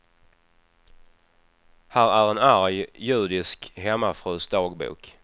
Här en arg judisk hemmafrus dagbok.